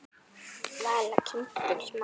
Vala: kindin smá.